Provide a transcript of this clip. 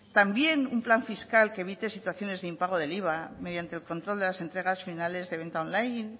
también un plan fiscal que evite situaciones de impago del iva mediante el control de las entregas finales de venta online